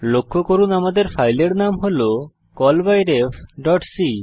লক্ষ্য করুন আমাদের ফাইলের নাম হল callbyrefসি